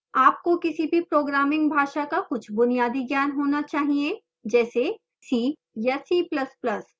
आपको किसी भी programming भाषा का कुछ बुनियादी ज्ञान होना चाहिए जैसे c या c ++